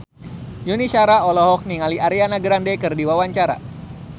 Yuni Shara olohok ningali Ariana Grande keur diwawancara